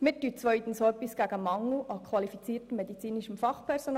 Wir tun zweitens auch etwas gegen den Mangel an qualifiziertem medizinischem Fachpersonal.